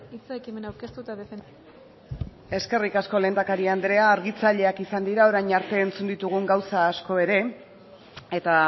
hitza ekimena aurkeztu eta defendatzeko eskerrik asko lehendakari andrea argitzaileak izan dira orain arte entzun ditugu gauza asko ere eta